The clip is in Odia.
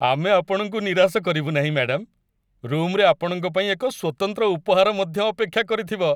ଆମେ ଆପଣଙ୍କୁ ନିରାଶ କରିବୁ ନାହିଁ, ମ୍ୟାଡାମ। ରୁମ୍‌ରେ ଆପଣଙ୍କ ପାଇଁ ଏକ ସ୍ୱତନ୍ତ୍ର ଉପହାର ମଧ୍ୟ ଅପେକ୍ଷା କରିଥିବ!